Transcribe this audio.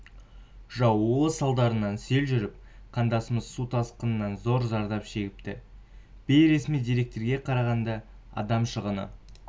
жаууы салдарынан сел жүріп қандастарымыз су тасқынан зор зардап шегіпті бейресми деректерге қарағанда адам шығыны